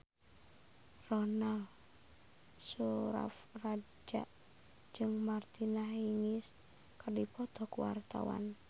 Ronal Surapradja jeung Martina Hingis keur dipoto ku wartawan